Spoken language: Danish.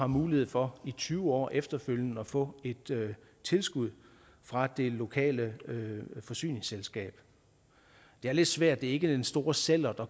mulighed for i tyve år efterfølgende at få et tilskud fra det lokale forsyningsselskab det er lidt svært ikke den store sællert at